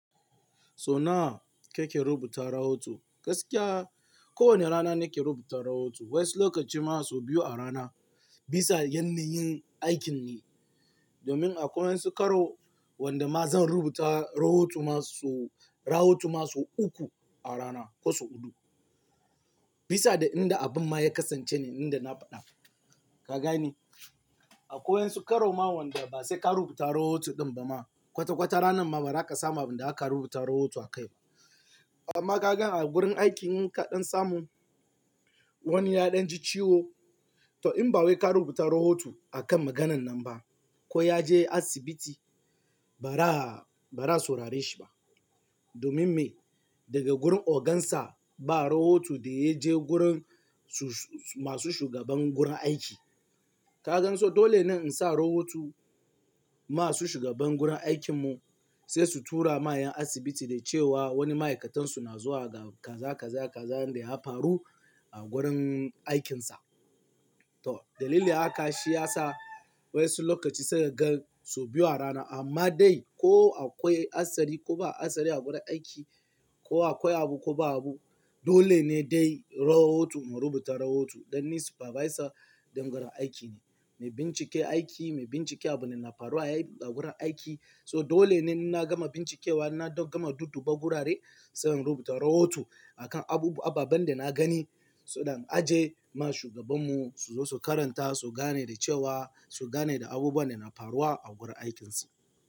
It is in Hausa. So na, ka ke rubuta rahoto, gaskiya kowane rana nake rubuta rahoto wayansu lokaci ma so biyu a rana bisa yanna yin aikin ne. Domin akwai wayansu karo wanda ma zan rubuta rahoto ma so-- rahoto ma so uku a rana ko su huɗu. Bisa da inda abun ma ya kasance ne inda na faɗa, ka gane? Akwai wayansu karoma wanda ba sai ka rubuta rahoto ɗin ba ma kwata-kwata ranan ma ba, zaka samu abin da zaka rubuta rahoto a kai ba. To amma ka gan a gurin aiki in ka ɗan samu wani ya ɗan ji ciwo, to in ba wai ka rubuta rahoto a kan maganan nan ba. Ko ya je asibiti ba ra a, ba ra a saurare shi ba. Domin me? Daga gurin ogan sa ba rahoto da ya je gurin su- masu shugaban gurin aiki. Ka gan so dole ne in sa a rahoto masu shugaban gurin aikin mu sai su tura ma 'yan asibiti da cewa wani ma'aikatan su na zuwa ga kaza, kaza, kaza inda ya faru a gurin aikinsa. To dalilin haka shi ya sa wayansu lokaci sai ka gan sau biyu a rana amma dai ko akwai hatsari ko ba hatsari a gurin aiki, ko akwai abu ko ba abu, dole ne dai rahoto mu rubuta rahoto dan ni supervisor din gurrin aiki ne. Mai bincike aiki, mai bincike abin da na faruwa a aiki a gurin aiki. So dole ne inna gama bincikewa, inna gama dudduba gurare sai in rubuta rahoto a kan abubuwa ababen da na gani. So that in ajiye ma shugaban mu su zo su karanta, su gane da cewa, su gane ga abubuwan da na faruwa a gurin aikinsa.